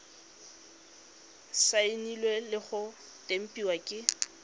saenilwe le go tempiwa ke